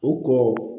U ko